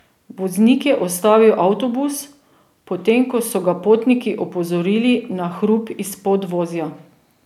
Voznik je ustavil avtobus, potem ko so ga potniki opozorili na hrup iz podvozja.